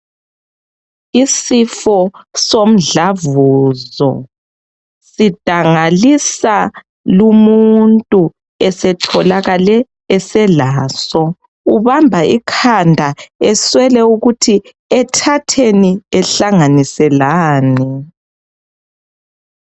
Isifo somdlavuzo sidangalisa lumuntu esetholakale eselaso, ubamba ikhanda eswele ukuthi ethatheni ehlanganise lani.